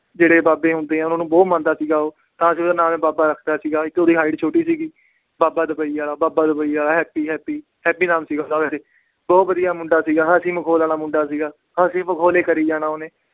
ਜਿਹੜੇ ਬਾਬੇ ਹੁੰਦੇ ਆ ਉਹਨਾਂ ਨੂੰ ਬਹੁਤ ਮੰਨਦਾ ਸੀਗਾ ਉਹ ਤਾਂ ਅਸੀਂ ਉਹਦਾ ਨਾਂ ਬਾਬਾ ਰੱਖ ਦਿੱਤਾ ਸੀਗਾ ਤੇ ਉਹਦੀ height ਛੋਟੀ ਸੀਗੀ, ਬਾਬਾ ਦੁਬਈ ਵਾਲਾ, ਬਾਬਾ ਦੁਬਈ ਵਾਲਾ, ਹੈਪੀ ਹੈਪੀ, ਹੈਪੀ ਨਾਮ ਸੀ ਉਹਦਾ ਵੈਸੇ, ਬਹੁਤ ਵਧੀਆ ਮੁੰਡਾ ਸੀਗਾ, ਹੱਸੀ ਮਖੌਲ ਵਾਲਾ ਮੁੰਡਾ ਸੀਗਾ, ਹੱਸੀ ਮਖੌਲ ਹੀ ਕਰੀ ਜਾਣਾ ਉਹਨੇ।